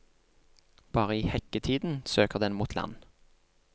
Bare i hekketiden søker den mot land.